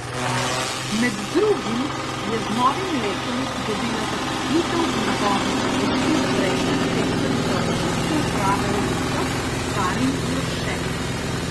Med drugim je z novim letom dobila zaposlitev v nabavni službi prejšnja direktorica občinske uprave v Rušah Karin Jurše.